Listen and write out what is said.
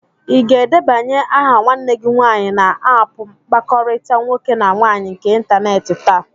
Ị ga-edebanye aha nwanne gị nwaanyị na áápù mkpakọrịta nwoke na nwaanyị nke ịntanetị taa?